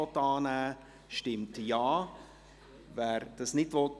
Dann kommen wir zum Punkt 1.